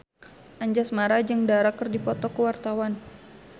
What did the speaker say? Anjasmara jeung Dara keur dipoto ku wartawan